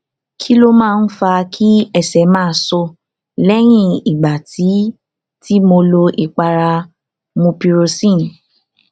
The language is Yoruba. kí ló máa ń fa kí ẹsẹ máa so lẹyìn ìgbà tí tí mo lo ìpara mupirocin